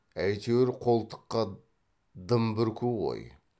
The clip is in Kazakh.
әйтеуір қолтыққа дым бүрку ғой